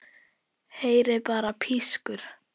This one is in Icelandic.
Heyri bara pískur.